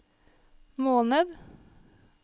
måned